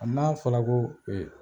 A n'a fɔra ko ee